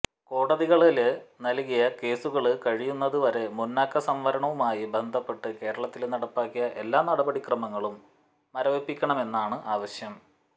കോടതികളില് നല്കിയ കേസുകള് കഴിയുന്നത് വരെ മുന്നാക്ക സംവരണവുമായി ബന്ധപ്പെട്ട് കേരളത്തില് നടപ്പിലാക്കിയ എല്ലാ നടപടി ക്രമങ്ങളും മരവിപ്പിക്കണമെന്നാണ് ആവശ്യം